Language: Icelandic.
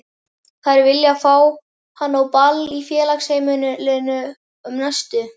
Þær vilja fá hann á ball í Félagsheimilinu um næstu